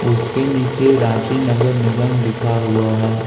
उसके नीचे रांची नगर निगम लिखा हुआ है।